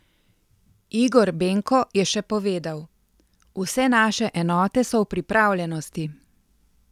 Igor Benko je še povedal: "Vse naše enote so v pripravljenosti.